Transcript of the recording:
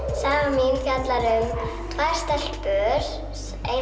sagan mín fjallar um tvær stelpur ein